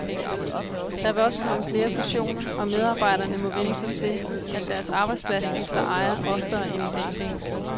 Der vil også komme flere fusioner, og medarbejderne må vænne sig til, at deres arbejdsplads skifter ejer oftere end i dag.